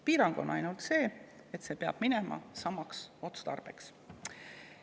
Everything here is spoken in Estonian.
Piirang on ainult see, et see peab minema samaks otstarbeks.